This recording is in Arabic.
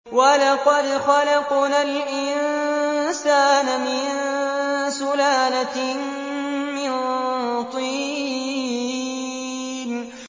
وَلَقَدْ خَلَقْنَا الْإِنسَانَ مِن سُلَالَةٍ مِّن طِينٍ